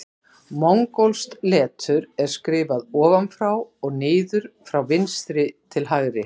Mongólskt letur er skrifað ofan frá og niður frá vinstri til hægri.